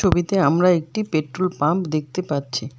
ছবিতে আমরা একটি পেট্রোল পাম্প দেখতে পাচ্ছি।